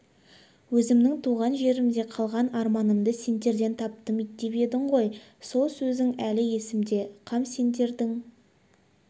өзімнің туған жерімде қалған арманымды сендерден таптым деп едің ғой сол сөзің әлі есімде қам сендердің